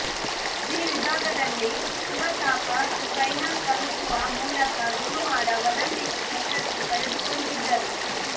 G ವಿಭಾಗದಲ್ಲಿ Shiva Thapa final ತಲುಪುವ ಮೂಲಕ ಗುರುವಾರ ಒಲಿಂಪಿಕ್ಸ್ ಅರ್ಹತೆ ಪಡೆದುಕೊಂಡಿದ್ದರು